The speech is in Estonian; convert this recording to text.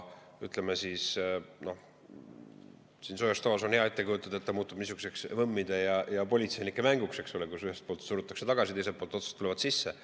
Siin soojas toas on hea ette kujutada, et see muutub niisuguseks võmmide ja politseinike mänguks, eks ole, kus ühelt poolt surutakse tagasi, teiselt poolt otsast tulevad sisse.